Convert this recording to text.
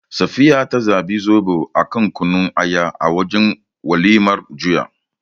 Safiya ta zabi Zoɓo a kan Kunun Aya a wajen walimar juya.